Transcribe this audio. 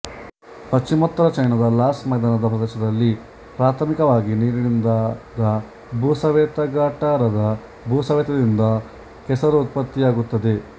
ಪಶ್ಚಿಮೋತ್ತರ ಚೈನಾದ ಲಾಸ್ ಮೈದಾನದ ಪ್ರದೇಶದಲ್ಲಿ ಪ್ರಾಥಮಿಕವಾಗಿ ನೀರಿನಿಂದಾದ ಭೂಸವೆತಗಟಾರದ ಭೂಸವೆತದಿಂದ ಕೆಸರು ಉತ್ಪತ್ತಿಯಾಗುತ್ತದೆ